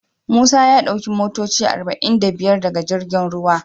Musa ya sauki motoci arba'in da biyar daga girjin ruwa.